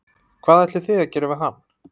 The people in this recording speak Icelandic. Hvað ætlið þið að gera við hann?